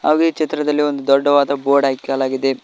ಹಾಗು ಈ ಚಿತ್ರದಲ್ಲಿ ಒಂದು ದೊಡ್ಡದಾದ ಬೋರ್ಡ್ ಹಾಕಲಾಗಿದೆ.